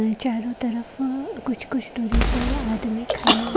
अं चारों तरफ अ कुछ कुछ दूरी पर आदमी खड़े--